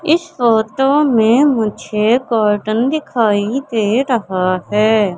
इस फोटो में मुझे कॉटन दिखाई दे रहा है।